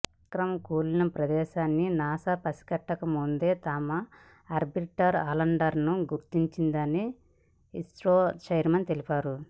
విక్రమ్ కూలిన ప్రదేశాన్ని నాసా పసికట్టకముందే తమ ఆర్బిటార్ ఆ ల్యాండర్ను గుర్తించిందని ఇస్రో చైర్మన్ తెలిపారు